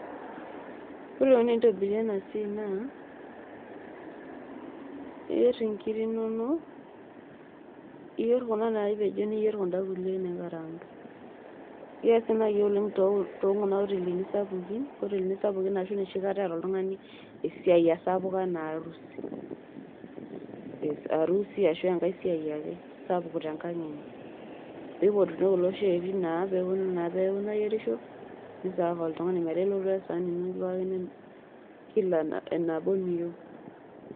Yiolo enikoni tenitobiri ena siaai naa, iyierr inkirri inonok iyierr kuna naapejo niyierr kuda kulie naikaraangi. Keesi naaji oleng' tekuna hotelini sapukin arashu enoshikata eeta oltung'ani esiai sapuk enaa harusi, arashu enkai siaai ake sapuk te enkang' ino. Piipotuni kulo oshi otii inaang' pee eponu naa pookin aayierisho niserve oltung'ani metaa ilotu ake we esahani nikipikakini enabaa ena eniyieu.